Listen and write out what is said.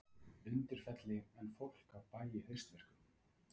Undirfelli en fólk af bæ í haustverkum.